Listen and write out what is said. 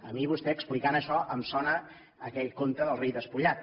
a mi vostè explicant això em sona a aquell conte del rei despullat